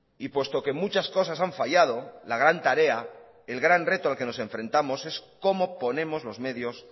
y puesto que muchas cosas han fallado la gran tarea el gran reto al que nos enfrentamos es cómo ponemos los medios